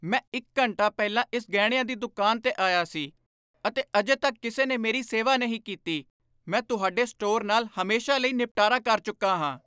ਮੈਂ ਇੱਕ ਘੰਟਾ ਪਹਿਲਾਂ ਇਸ ਗਹਿਣਿਆਂ ਦੀ ਦੁਕਾਨ 'ਤੇ ਆਇਆ ਸੀ ਅਤੇ ਅਜੇ ਤੱਕ ਕਿਸੇ ਨੇ ਮੇਰੀ ਸੇਵਾ ਨਹੀਂ ਕੀਤੀ। ਮੈਂ ਤੁਹਾਡੇ ਸਟੋਰ ਨਾਲ ਹਮੇਸ਼ਾ ਲਈ ਨਿਪਟਾਰਾ ਕਰ ਚੁੱਕਾ ਹਾਂ।